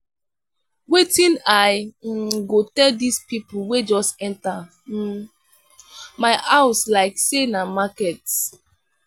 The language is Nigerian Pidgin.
wetin i um go tell dese pipo wey just enta um my house like sey na market.